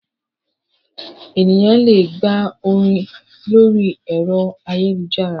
Ènìyàn le gba orin lórí ẹ̀rọ ayélujára.